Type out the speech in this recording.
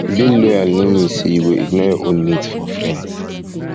being loyal no mean say you go ignore your own needs for friends